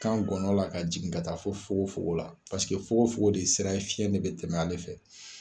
Kan gɔnɔ la ka jigin ka taa fo fogo fogo la paseke fogo fogo de ye sira ye fiyɛn de bɛ tɛmɛ ale fɛ.